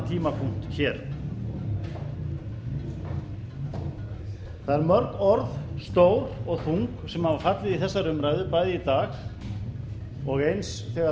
tímapunkt hér það eru mörg orð stór og þung sem hafa fallið í þeirri umræðu bæði í dag og eins þegar umræða fór hér